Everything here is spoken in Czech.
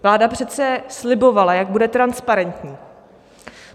Vláda přece slibovala, jak bude transparentní.